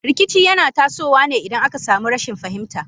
Rikici yana tasowa ne idan aka sami rashin fahimta.